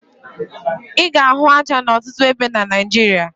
Ị ga-ahụ aja n'ọtụtụ ebe na Naịjirịa